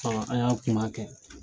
an y'a kuma kɛ.